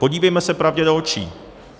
Podívejme se pravdě do očí.